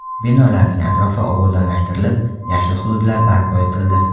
Binolarning atrofi obodonlashtirilib, yashil hududlar barpo etildi.